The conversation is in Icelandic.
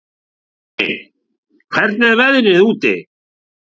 Sæmi, hvernig er veðrið úti?